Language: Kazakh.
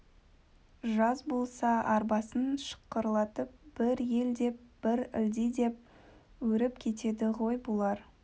жаз болса арбасын шықырлатып бір ел деп бір ылди деп өріп кетеді ғой бұлар